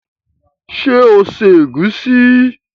Ṣé o se ègúsí?